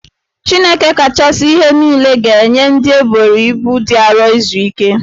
Chineke kachasi ihe nile ga-enye ndị eboro ibu dị arọ izu ike